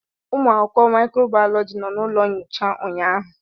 Ụmụ akwụkwọ microbiology nọ na ụlọ nyocha ụnyaahụ.